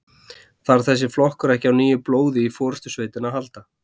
Þarf þessi flokkur ekki á nýju blóði í forystusveitina að halda?